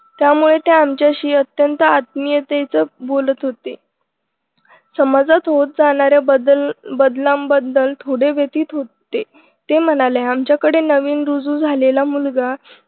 त्यामुळे ते आमच्याशी अत्यंत आत्मीयतेच बोलत होते समाजात होत जाणारे बदल बदलांबद्दल थोडे व्यतीत होते ते म्हणाले आमच्याकडे नवीन रुजू झालेला मुलगा